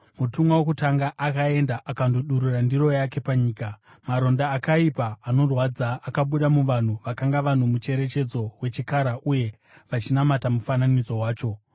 Mutumwa wokutanga akaenda akandodurura ndiro yake panyika, maronda akaipa, anorwadza akabuda muvanhu vakanga vano mucherechedzo wechikara uye vachinamata mufananidzo wacho.